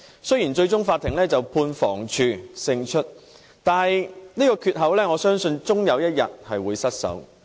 雖然最終法院判房屋署勝訴，但這個缺口我相信終有一天會失守。